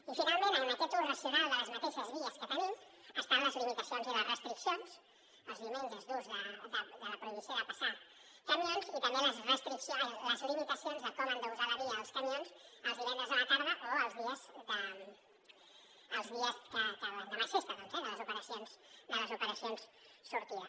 i finalment en aquest ús racional de les mateixes vies que tenim estan les limitacions i les restriccions els diumenges d’ús de la prohibició de passar camions i també les limitacions de com han d’usar la via els camions els divendres a la tarda o els dies que l’endemà és festa eh de les operacions sortida